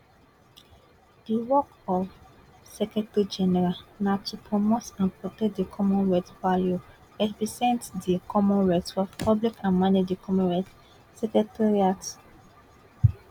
di work of di secretary general na to promote and protect di commonwealth value represent di commonwealth for public and manage di commonwealth secretariat